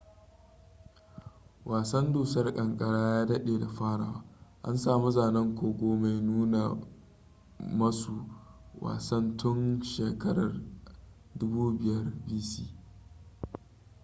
wasan dusar kankara ya dade da farawa - an samu zanen kogo mai nuna masu wasan tun shakarar 5000 bc